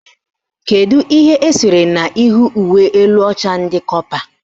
Kedu ihe esere n'ihu uwe elu ọcha ndị kọpa?